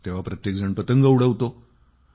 तेव्हा प्रत्येक जण पतंग उडवतो